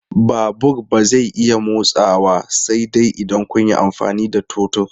Babur ba zai iya motsawa sai dai idan kun yi amfani da totur.